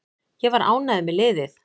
Ég var ánægður með liðið.